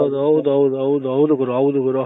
ಹೌದು ಹೌದು ಹೌದು ಹೌದು ಗುರು ಹೌದು ಗುರು